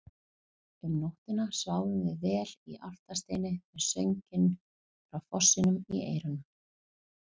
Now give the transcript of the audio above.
Um nóttina sváfum við vel í Álfasteini með sönginn frá fossinum í eyrunum.